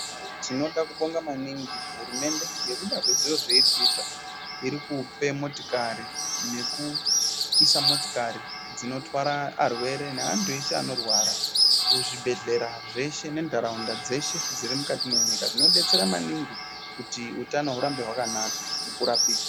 Tinoda kubinga maningi hurumende ngekuda kwezviro zveiri kuita iri kupe motikari nekuisa motikari dzinotwara arwere, neantu eshe vanorwara kuzvibhedhlera zveshe nentaraunda deshe dziri mukati mwenyika zvinobetsera maningi kuti utano urambe wakanaka nekurapike.